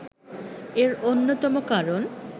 এর অন্যতম কারণ